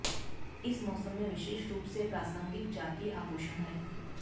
इस मौसम में विशेष रूप से प्रासंगिक जातीय आभूषण है